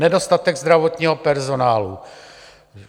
Nedostatek zdravotního personálu.